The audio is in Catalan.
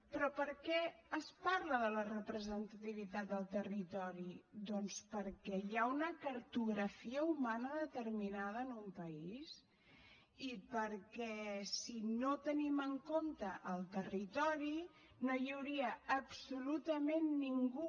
però per què es parla de la representativitat del territori doncs perquè hi ha una cartografia humana determinada en un país i perquè si no tenim en compte el territori no hi hauria absolutament ningú